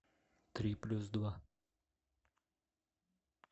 три плюс два